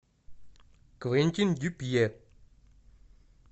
квентин дюпье